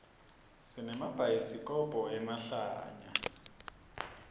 sinemabhayaisikhobo emahlaya